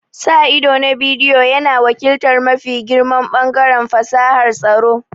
Sa ido na bidiyo yana wakiltar mafi girman ɓangaren fasahar tsaro.